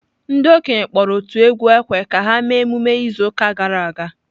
Ndị okenye kpọrọ otu egwu ekwe ka ha mee emume izu ụka gara aga.